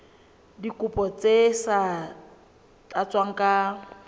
dikopo tse sa tlatswang ka